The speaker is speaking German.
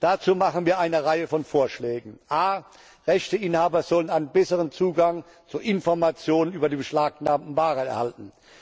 Dazu machen wir eine Reihe von Vorschlägen a Rechteinhaber sollen einen besseren Zugang zu Informationen über die beschlagnahmten Waren erhalten.